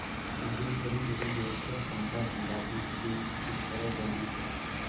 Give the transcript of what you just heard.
सिद्धेश्वरी वहीं बैठकर पंखा डुलाती हुई इस तरह बोली